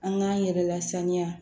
An k'an yɛrɛ lasaniya